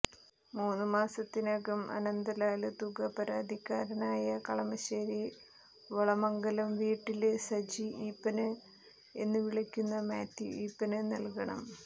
മൂന്നു മാസത്തിനകം അനന്തലാല് തുക പരാതിക്കാരനായ കളമശ്ശേരി വളമംഗലം വീട്ടില് സജി ഈപ്പന് എന്നു വിളിക്കുന്ന മാത്യൂ ഈപ്പന് നല്കണം